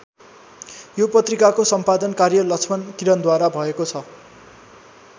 यो पत्रिकाको सम्पादन कार्य लक्ष्मण किरणद्वारा भएको छ।